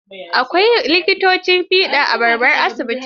Akwai likitan fiɗa a babban asibiti.